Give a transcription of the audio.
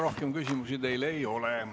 Rohkem küsimusi teile ei ole.